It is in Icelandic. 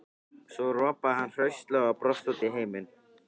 Svo ropaði hann hraustlega og brosti út í heiminn.